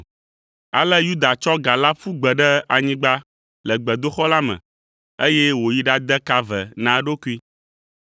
Ale Yuda tsɔ ga la ƒu gbe ɖe anyigba le gbedoxɔ la me, eye wòyi ɖade ka ve na eɖokui.